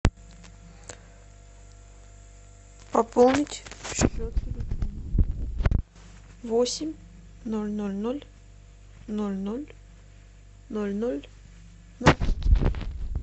пополнить счет восемь ноль ноль ноль ноль ноль ноль ноль